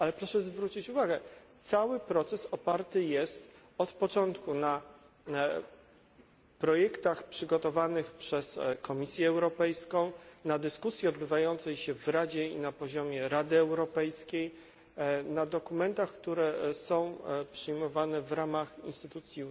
Ale proszę zwrócić uwagę, że cały proces oparty jest od początku na projektach przygotowanych przez Komisję Europejską, na dyskusji odbywającej się w Radzie i na poziomie Rady Europejskiej, na dokumentach, które są przyjmowane w ramach instytucji